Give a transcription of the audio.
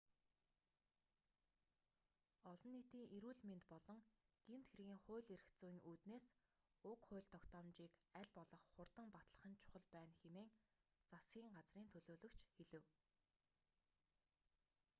олон нийтийн эрүүл мэнд болон гэмт хэргийн хууль эрх зүйн үүднээс уг хууль тогтоомжийг аль болох хурдан батлах нь чухал байна хэмээн засгийн газрын төлөөлөгч хэлэв